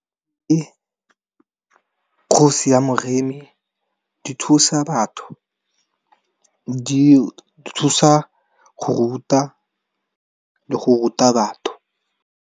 Kgosi ya moremi, di thusa batho di thusa go ruta le go ruta batho.